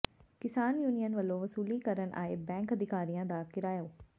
ਕਿਸਾਨ ਯੂਨੀਅਨ ਵਲੋਂ ਵਸੂਲੀ ਕਰਨ ਆਏ ਬੈਂਕ ਅਧਿਕਾਰੀਆਂ ਦਾ ਘਿਰਾਓ